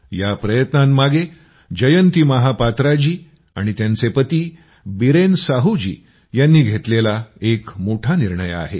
या प्रयत्नांमागे जयंती महापात्रा जी आणि त्यांचे पती बीरेन साहू जी यांनी घेतलेला एक मोठा निर्णय आहे